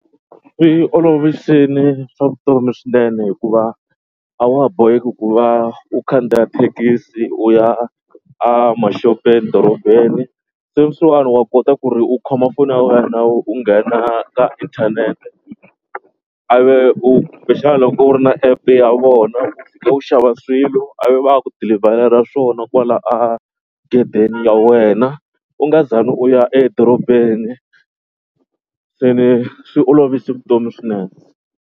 Swi olovisini swa vutomi swinene hikuva a wa ha boheki ku va u khandziya thekisi u ya a maxopeni dorobeni. Sweswiwani wa kota ku ri u khoma foni ya wena u nghena ka inthanete a ve u kumbexana loko u ri na app ya vona u xava swilo a ve va ya ku dilivharela swona kwala a gedeni ya wena u nga zangi u ya edorobeni. Se ni swi olovise vutomi swinene.